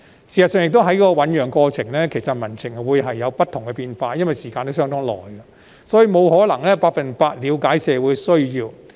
事實上，在政策醞釀的過程中，民情會有不同變化，因為歷時甚久，所以不可能百分百了解社會需要。